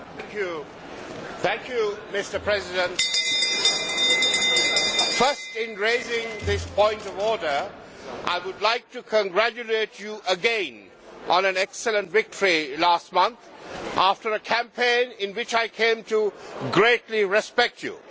Mr President, first, in raising this point of order, I would like to congratulate you again on an excellent victory last month after a campaign in which I came to greatly respect you.